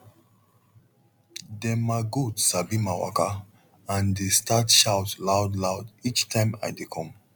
dem ma goat sabi ma waka and dey start shout loud loud each time i de come